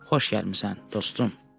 Xoş gəlmisən, dostum.